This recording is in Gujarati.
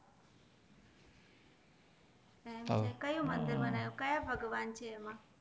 એમ છે કયું મંદિર બનાવ્યું ક્યાં ભગવાન છે એમાં